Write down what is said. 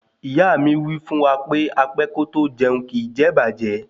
Ìyá mi wí fún wa pé apẹ́ kótó jẹun kìí jẹ ìbàjẹ́